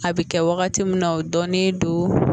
A bɛ kɛ wagati min na o dɔɔnin don